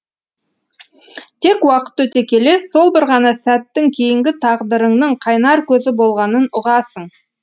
тек уақыт өте келе сол бір ғана сәттің кейінгі тағдырыңның қайнар көзі болғанын ұғасың